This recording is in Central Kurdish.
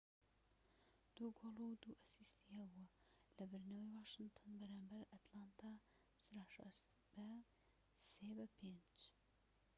٢ گۆڵ و ٢ ئەسیستی هەبوو لە بردنەوەی واشنتن بەرامبەر ئەتلانتا سراشەرس بە ٥-٣